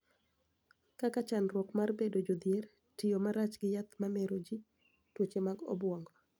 Kaka chandruok mar bedo jodhier, tiyo marach gi yath ma mero ji, tuoche mag obwongo,